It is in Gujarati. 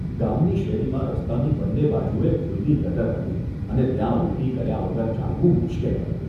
ગામની શેરીમાં રસ્તાની બન્ને બાજુએ ખુલ્લી ગટર હતી અને ત્યાં ઊલટી કર્યા વગર ચાલવું મુશ્કેલ હતું.